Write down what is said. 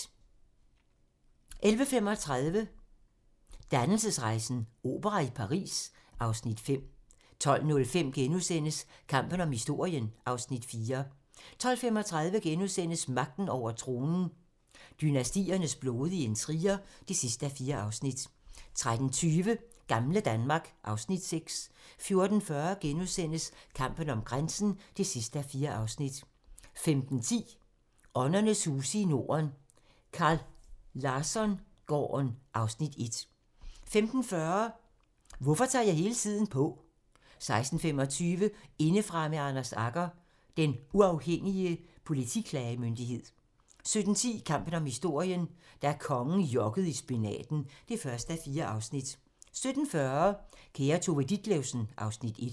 11:35: Dannelsesrejsen - opera i Paris (Afs. 5) 12:05: Kampen om historien (Afs. 4)* 12:35: Magten over tronen - dynastiernes blodige intriger (4:4)* 13:20: Gamle Danmark (Afs. 6) 14:40: Kampen om grænsen (4:4)* 15:10: Åndernes huse i Norden - Carl Larsson-gården (Afs. 1) 15:40: Hvorfor tager jeg hele tiden på? 16:25: Indefra med Anders Agger - Den Uafhængige Politiklagemyndighed 17:10: Kampen om historien - da kongen jokkede i spinaten (1:4) 17:40: Kære Tove Ditlevsen (Afs. 1)